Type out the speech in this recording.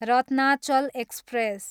Ratnachal express